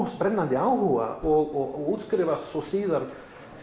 brennandi áhuga og útskrifast síðan